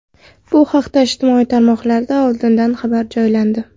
Bu haqda ijtimoiy tarmoqlarda oldindan xabar joylandi.